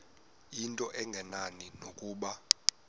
into engenani nokuba